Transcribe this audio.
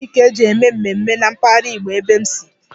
Anụ ehi ka-eji eme mmemme na mpaghara Igbo ebe m nsi.